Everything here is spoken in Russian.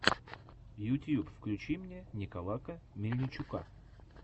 ютьюб включи мне николака мельничука